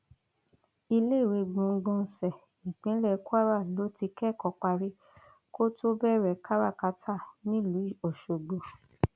iléèwé gbọgbọnsẹ ìpínlẹ kwara ló ti kẹkọ parí kó tóó bẹrẹ kárákáta nílùú ọṣọgbó